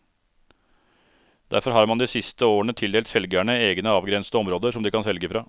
Derfor har man de siste årene tildelt selgerne egne avgrensede områder som de kan selge fra.